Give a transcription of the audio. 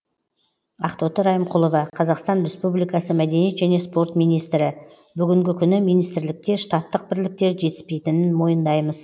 ақтоты райымқұлова қазақстан республикасы мәдениет және спорт министрі бүгінгі күні министрлікте штаттық бірліктер жетіспейтінін мойындаймыз